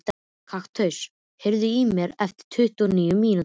Kaktus, heyrðu í mér eftir tuttugu og níu mínútur.